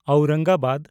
Aurangabad